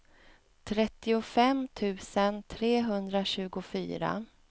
trettiofem tusen trehundratjugofyra